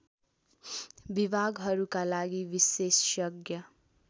विभागहरूका लागि विशेषज्ञ